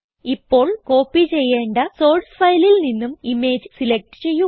ഇപ്പോൾ കോപ്പി ചെയ്യേണ്ട സോർസ് ഫയലിൽ നിന്നും ഇമേജ് സിലക്റ്റ് ചെയ്യുക